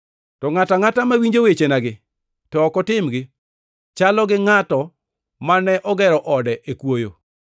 To ngʼato angʼata mawinjo wechenagi to ok otimgi chalo gi ngʼat mane ogero ode e kwoyo.